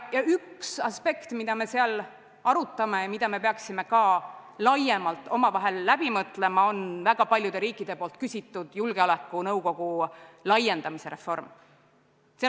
Ja üks aspekt, mida me seal arutame ja mida me peaksime laiemalt omavahel läbi mõtlema, on väga paljude riikide küsitud julgeolekunõukogu laiendamise reform.